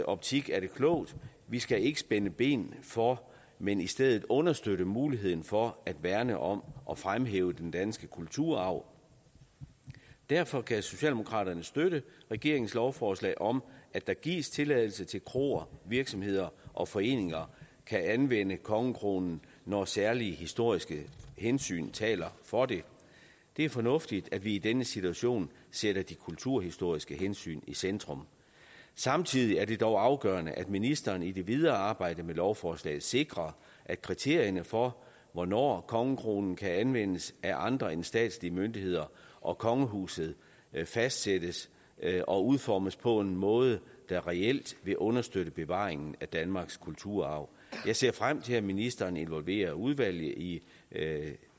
optik er det klogt vi skal ikke spænde ben for men i stedet understøtte muligheden for at værne om og fremhæve den danske kulturarv derfor kan socialdemokratiet støtte regeringens lovforslag om at der gives tilladelse til at kroer virksomheder og foreninger kan anvende kongekronen når særlige historiske hensyn taler for det det er fornuftigt at vi i denne situation sætter de kulturhistoriske hensyn i centrum samtidig er det dog afgørende at ministeren i det videre arbejde med lovforslaget sikrer at kriterierne for hvornår kongekronen kan anvendes af andre end statslige myndigheder og kongehuset fastsættes og udformes på en måde der reelt vil understøtte bevaringen af danmarks kulturarv jeg ser frem til at ministeren involverer udvalget i